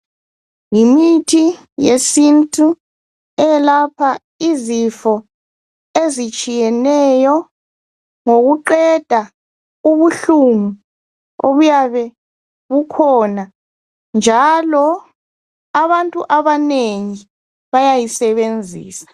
Yimithi yesintu eyelapha izifo ezitshiyeneyo ngokuqeda ubuhlungu obuyabe bukhona njalo abantu abanengi bayayisebenzisa.